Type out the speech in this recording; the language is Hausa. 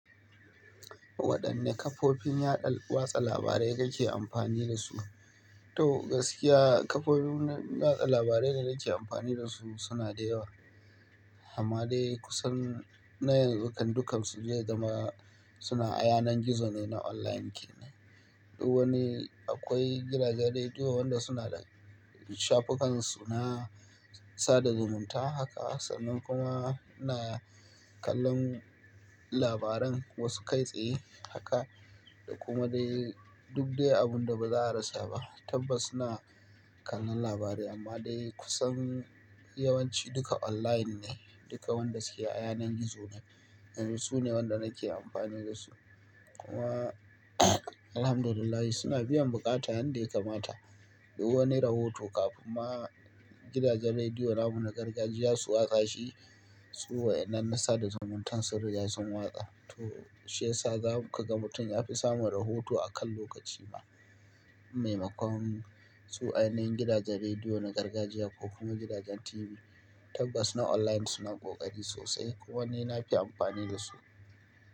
Waɗanne kafofin yaɗa watsa labarai kake amfani da su? To gaskiya kafofin watsa labarai da nake amfani da su suna da yawa. Amma dai kusan na yan zu kan su duka su zai zama suna a yanan gizo ne, na online ne. Duk wani akwai gidajen rediyo wanda suna da shafukan su na sada zumunta haka sannan kuma suna kallon labaran wasu kai tsaye haka. Kuma dai duk dai abun da baza a rasa ba. Tabbas suna kallon labarai amma dai kusan yawanci duka online ne. Duka wanda suke a yanayin gizo ne. Yanzu sune waɗanda nake amfani da su. Kuma Alhamdulillah suna biyan buƙata yanda ya kamata. Duk wani rahoto kafin ma gidajen rediyo namu na gargajiya su watsa shi, su wa'inan na sada zumuntan sun riga sun watsa. To shi yasa za kaga mutum yafi samun rahoto a kan lokaci maimakon su a yanayin gidajen rediyo na gargajiya ko kuma gidajen TV. Tabbas na online suna ƙoƙari sosai kuma ni nafi amfani da su.